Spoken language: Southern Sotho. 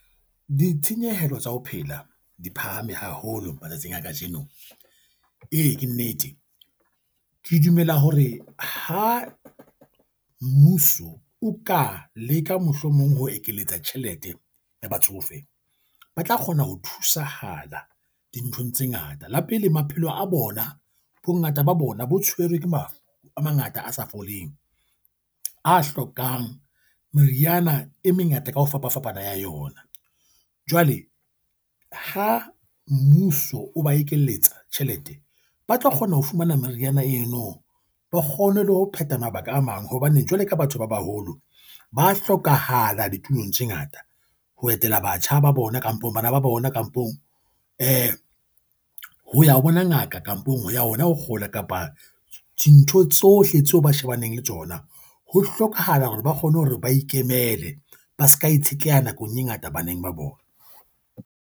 Ditshenyehelo tsa ho phela di phahame haholo matsatsing a kajeno. Ee, ke nnete, ke dumela hore ha mmuso o ka leka mohlomong ho ekeletsa tjhelete ya batsofe, ba tla kgona ho thusahala dinthong tse ngata. La pele maphelo a bona. Bongata ba bona bo tshwerwe ke mafu a mangata a sa foleng, a hlokang meriana e mengata ka ho fapafapana ya yona. Jwale ke ha mmuso o ba ekelletswa tjhelete, ba tlo kgona ho fumana meriana eno. Ba kgone le ho phetha mabaka a mang hobane jwale ka batho ba baholo, ba hlokahala ditulong tse ngata ho etela batjha ba bona kampong bana ba bona, kampong eh ho ya bona ngaka. Kampong ho ya ona ho kgola kapa dintho tsohle tseo ba shebaneng le tsona. Ho hlokahala hore ba kgone hore ba ikemele ba seka itshetleha nakong e ngata baneng ba bona.